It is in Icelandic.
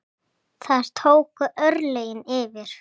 Þar tóku örlögin yfir.